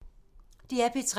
DR P3